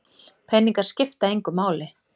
Peningar skipta engu máli